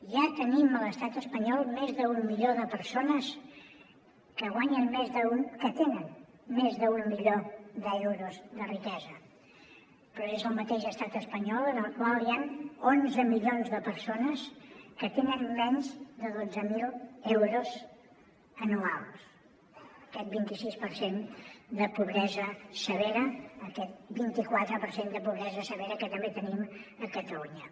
ja tenim a l’estat espanyol més d’un milió de persones que tenen més d’un milió d’euros de riquesa però és el mateix estat espanyol en el qual hi han onze milions de persones que tenen menys de dotze mil euros anuals aquest vint i quatre per cent de pobresa severa que també tenim a catalunya